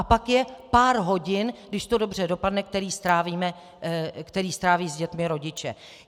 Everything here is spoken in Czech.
A pak je pár hodin, když to dobře dopadne, které stráví s dětmi rodiče.